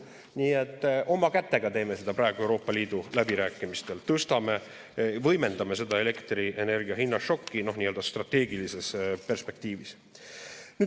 Nii et oma kätega teeme seda praegu, Euroopa Liidu läbirääkimistel tõstame, võimendame seda elektrienergia hinna šokki nii-öelda strateegilises perspektiivis.